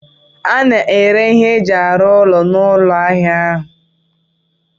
A na-ere ihe eji arụ ụlọ n'ụlọ ahịa ahụ